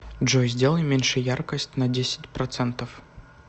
джой сделай меньше яркость на десять процентов